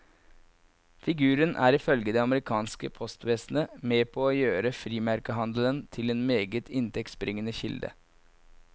Figuren er ifølge det amerikanske postvesenet med på å gjøre frimerkehandelen til en meget inntektsbringende kilde.